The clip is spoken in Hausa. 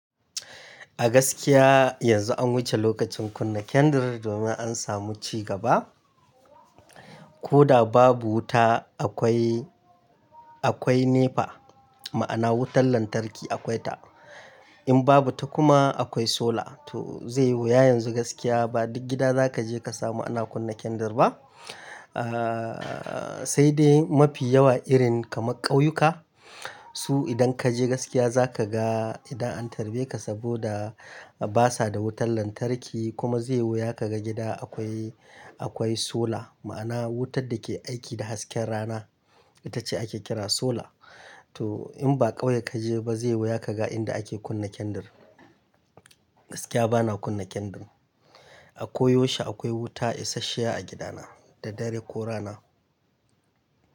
A gaskiya yanzu an wuce lokacin kunna kendir domin an samu cigaba. Ko da babu wuta akwai, akwai NEPA ma'ana wutar lantarki akwai ta. In babu ta kuma akwai solar. To zai yi wuya yanzu gaskiya ba duk gida za ka je ka samu ana kunna kendir ba. Aa sai dai mafi yawa irin kamar ƙauyuka, su idan ka je gaskiya za ka ga idan an tarbe ka saboda basa da wutar lantarki kuma zai yi wuya ka ga gida akwai, akwai solar ma'ana wutar da ke aiki da hasken rana itace ake kira solar. To in ba ƙauye ka je ba zai yi wuya ka ga inda ake kunna kendir. Gaskiya bana kunna kendir. A koyaushe akwai wuta isasshiya a gidana da dare ko rana.